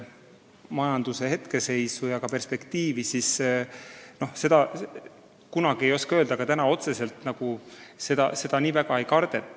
Majanduse hetkeseisu ja ka perspektiivi vaadates ei saa seda küll kindlalt öelda, aga otseselt võimekuse kaotust nii väga ei kardeta.